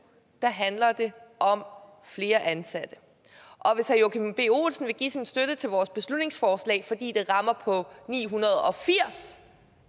handler det om flere ansatte og hvis herre joachim b olsen vil give sin støtte til vores beslutningsforslag fordi det rammer på ni hundrede og firs